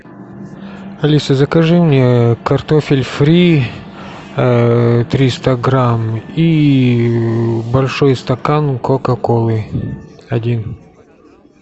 алиса закажи мне картофель фри триста грамм и большой стакан кока колы один